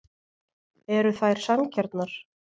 Eru þær sanngjarnar?